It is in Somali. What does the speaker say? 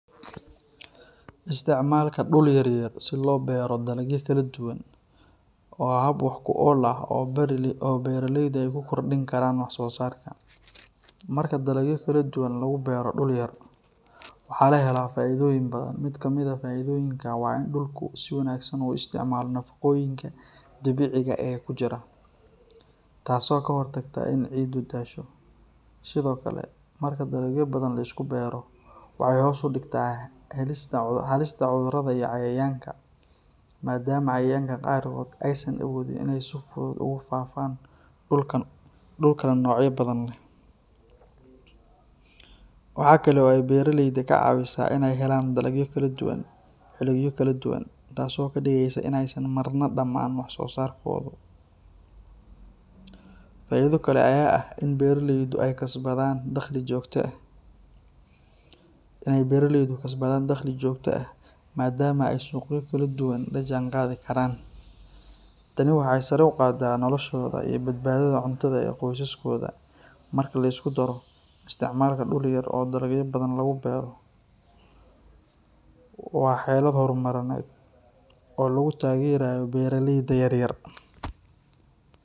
Isticmaalka dhul yar yar si loo beero dalagyo kala duwan waa hab wax ku ool ah oo beeraleydu ay ku kordhin karaan wax soo saarkooda. Marka dalagyo kala duwan lagu beero dhul yar, waxaa la helaa faa’iidooyin badan. Mid ka mid ah faa’iidooyinka waa in dhulku si wanaagsan u isticmaalo nafaqooyinka dabiiciga ah ee ku jira, taasoo ka hortagta in ciiddu daasho. Sidoo kale, marka dalagyo badan la isku beero, waxay hoos u dhigtaa halista cudurrada iyo cayayaanka, maadaama cayayaanka qaarkood aysan awoodin inay si fudud ugu faaftaan dhul kala noocyo badan leh. Waxa kale oo ay beeraleyda ka caawisaa inay helaan dalagyo kala duwan xilliyo kala duwan, taasoo ka dhigaysa in aysan marna dhammaan wax soo saarkoodu. Faa’iido kale ayaa ah in beeraleydu ay kasbadaan dakhli joogto ah, maadaama ay suuqyo kala duwan la jaanqaadi karaan. Tani waxay sare u qaadaa noloshooda iyo badbaadada cuntada ee qoysaskooda. Marka la isku daro, isticmaalka dhul yar oo dalagyo badan lagu beero waa xeelad horumarineed oo lagu taageerayo beeraleyda yar yar.